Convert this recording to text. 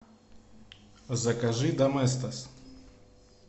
закажи доместос